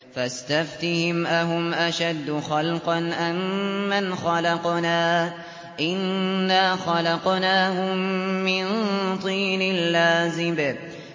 فَاسْتَفْتِهِمْ أَهُمْ أَشَدُّ خَلْقًا أَم مَّنْ خَلَقْنَا ۚ إِنَّا خَلَقْنَاهُم مِّن طِينٍ لَّازِبٍ